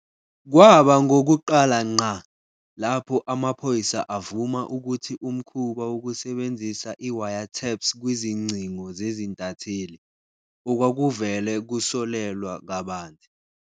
Kwaba ngokokuqala ngqa, lapho amaphoyisa avuma ukuthi umkhuba wokusebenzisa i-wiretaps kwizingcingo zezintatheli, okwakuvele kusolelwa kabanzi.